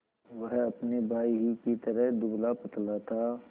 वह अपने भाई ही की तरह दुबलापतला था